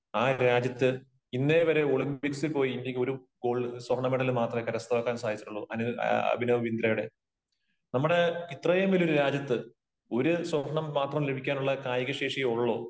ആ രാജ്യത്ത് ഇന്നേ വരെ ഒളിമ്പിക്സിൽ പോയി ഇന്ത്യക്ക് ഒരു സ്വർണ്ണ മെഡല് മാത്രമേ കരസ്ഥമാക്കാൻ സാധിച്ചിട്ടുള്ളൂ. അഭിനവ് ബിന്ദ്രയുടെ. നമ്മുടെ ഇത്രയും വലിയ ഒരു രാജ്യത്ത് ഒരു സ്വർണം മാത്രം ലഭിക്കാനുള്ള കായിക ശേഷിയെ ഉള്ളോ?